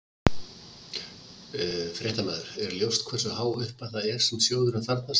Fréttamaður: Er ljóst hversu há upphæð það er sem sjóðurinn þarfnast?